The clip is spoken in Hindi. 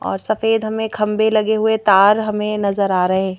और सफेद हमें खंबे लगे हुए तार हमें नजर आ रहे हैं।